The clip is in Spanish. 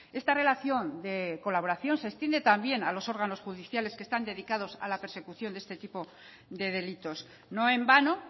esta relación de colaboración se extiende también a los órganos judiciales que están dedicados a la persecución de este tipo de delitos no en vano